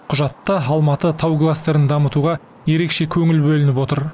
құжатта алматы тау кластерін дамытуға ерекше көңіл бөлініп отыр